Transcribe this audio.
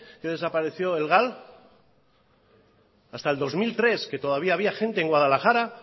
que desapareció el gal hasta el dos mil tres que todavía había gente en guadalajara